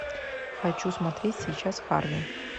хочу смотреть сейчас харви